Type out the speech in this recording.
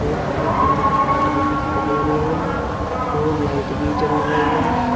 और हैरे कलर के मैट भी दिखाई दे रहे हैं और लाइट भी जल रही है।